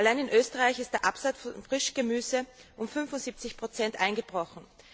Allein in Österreich ist der Absatz von Frischgemüse um 75 eingebrochen.